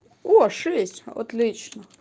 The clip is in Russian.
о шесть отлично